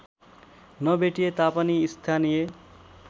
नभेटिए तापनि स्थानीय